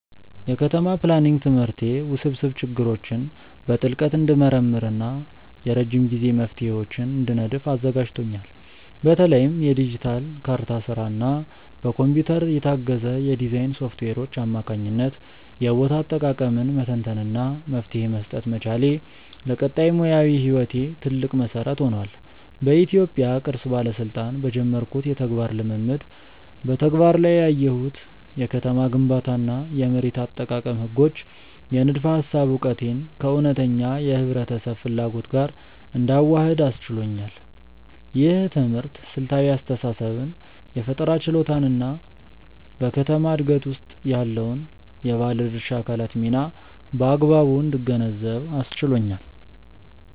የከተማ ፕላኒንግ ትምህርቴ ውስብስብ ችግሮችን በጥልቀት እንድመረምር እና የረጅም ጊዜ መፍትሄዎችን እንድነድፍ አዘጋጅቶኛል። በተለይም በዲጂታል ካርታ ስራ እና በኮምፒውተር የታገዘ የዲዛይን ሶፍትዌሮች አማካኝነት የቦታ አጠቃቀምን መተንተን እና መፍትሄ መስጠት መቻሌ፣ ለቀጣይ ሙያዊ ህይወቴ ትልቅ መሰረት ሆኗል። በኢትዮጵያ ቅርስ ባለስልጣን በጀመርኩት የተግባር ልምምድ በተግባር ላይ ያየሁት የከተማ ግንባታ እና የመሬት አጠቃቀም ህጎች የንድፈ ሃሳብ እውቀቴን ከእውነተኛ የህብረተሰብ ፍላጎት ጋር እንዳዋህድ አስችሎኛል። ይህ ትምህርት ስልታዊ አስተሳሰብን የፈጠራ ችሎታን እና በከተማ ዕድገት ውስጥ ያለውን የባለድርሻ አካላት ሚና በአግባቡ እንድገነዘብ አስችሎኛል።